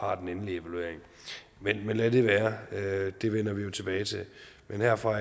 har den endelige evaluering men lad det være det vender vi jo tilbage til men herfra